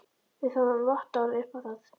Við fáum vottorð upp á það.